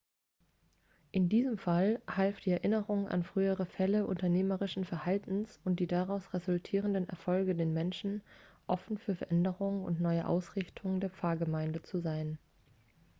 in diesem fall half die erinnerung an frühere fälle unternehmerischen verhaltens und die daraus resultierenden erfolge den menschen offen für veränderungen und eine neue ausrichtung der pfarrgemeinde zu sein